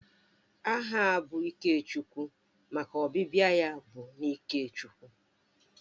Aha bụ Ikechukwu maka ọbịbịa ya bụ n'ike Chukwu